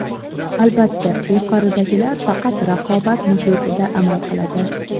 Albatta, yuqoridagilar faqat raqobat muhitida amal qiladi”.